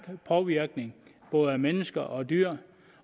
påvirkning på både mennesker og dyr